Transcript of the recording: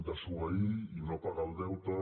desobeir i no pagar el deute